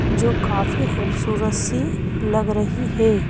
जो काफी खूबसूरत सी लग रही है।